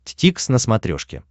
дтикс на смотрешке